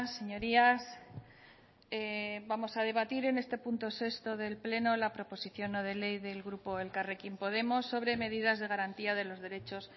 señorías vamos a debatir en este punto sexto del pleno la proposición no de ley del grupo elkarrekin podemos sobre medidas de garantía de los derechos